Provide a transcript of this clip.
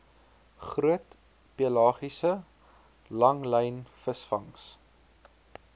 groot pelagiese langlynvisvangs